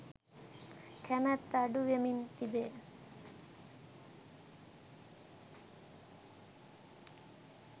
කැමැත්ත අඩු වෙමින් තිබේ.